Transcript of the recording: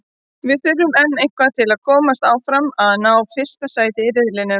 Við þurfum enn eitthvað til að komast áfram og að ná fyrsta sæti í riðlinum.